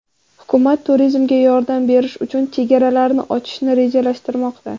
Hukumat turizmga yordam berish uchun chegaralarini ochishni rejalashtirmoqda.